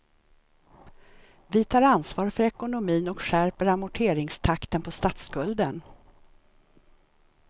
Vi tar ansvar för ekonomin och skärper amorteringstakten på statsskulden.